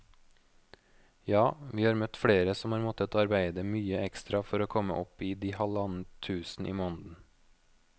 Ja, vi har møtt flere som har måttet arbeide mye ekstra for å komme opp i de halvannet tusen i måneden.